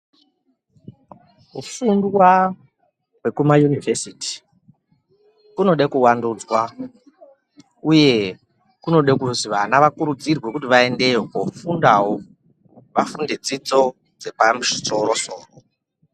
Kufundwa kwekumayunivhesiti kunoda kuwandudzwa uye kunoda kuzi vana vedu vakurudzirwe kuti vaendeyo kofundawo vafunde dzidzo dzepamusoro soro.